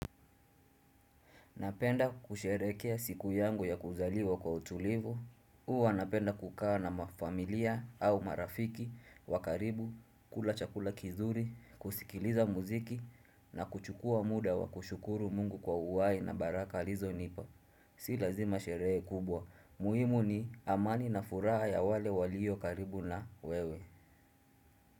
Napenda kusherehekea siku yangu ya kuzaliwa kwa utulivu. Huwa napenda kukaa na familia au marafiki wa karibu, kula chakula kizuri, kusikiliza muziki, na kuchukua muda wa kushukuru Mungu kwa uhai na baraka alizonipa. Si lazima sherehe kubwa. Muhimu ni amani na furaha ya wale walio karibu na wewe.